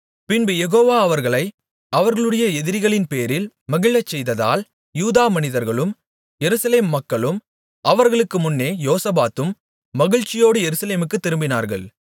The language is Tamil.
பின்பு யெகோவா அவர்களை அவர்களுடைய எதிரிகள்பேரில் மகிழச் செய்ததால் யூதா மனிதர்களும் எருசலேம் மக்களும் அவர்களுக்கு முன்னே யோசபாத்தும் மகிழ்ச்சியோடு எருசலேமுக்குத் திரும்பினார்கள்